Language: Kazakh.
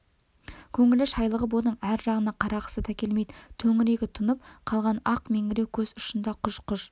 көңілі шайлығып оның ар жағына қарағысы да келмейді төңірегі тұнып қалған ақ меңіреу көз ұшында құж-құж